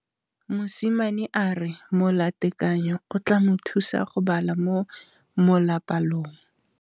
Mosimane a re molatekanyô o tla mo thusa go bala mo molapalong.